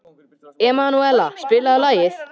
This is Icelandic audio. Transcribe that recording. Emanúela, spilaðu lag.